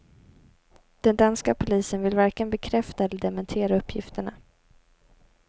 Den danska polisen vill varken bekräfta eller dementera uppgifterna.